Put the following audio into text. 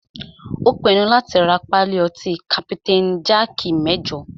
Ó pinnu láti rá pálí ọtí kapitain jaaki mẹ́jọ.